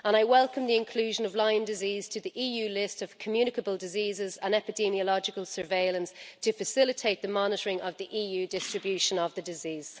I welcome the inclusion of Lyme disease on the EU list of communicable diseases and epidemiological surveillance to facilitate the monitoring of the EU distribution of the disease.